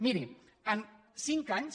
miri en cinc anys